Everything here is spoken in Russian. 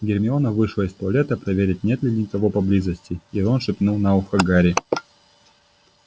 гермиона вышла из туалета проверить нет ли кого поблизости и рон шепнул на ухо гарри